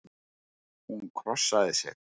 Hún krossaði sig.